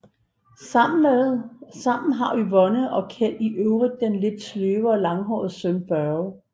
Sammen har Yvonne og Kjeld i øvrigt den lidt sløve og langhårede søn Børge